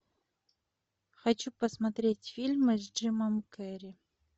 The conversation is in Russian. хочу посмотреть фильмы с джимом керри